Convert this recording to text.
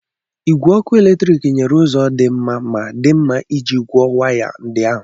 Igwe ọkụ eletrik nyere ụzọ dị mma ma dị mma iji kwọọ waya ndị ahụ.